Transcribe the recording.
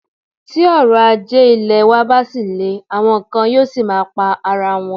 Tí òrọ̀ ajé ilẹ̀ wa bá ṣì le, àwọn kan yóò ṣì máa pa ara wọn.